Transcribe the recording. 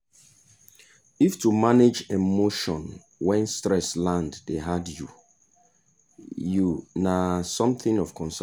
if to manage emotion when stress land dey hard you you na something of concern o.